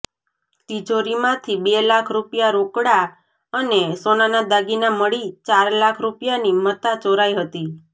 તિજોરીમાંથી બે લાખ રૃપિયા રોકડા અને સોનાના દાગીના મળી ચાર લાખ રૃપિયાની મત્તા ચોરાઈ હતી